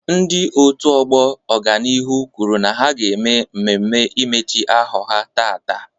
Ndị otu ọgbọ ọganihu kwuru na ha ga mmemme imechi ahọ ha taata.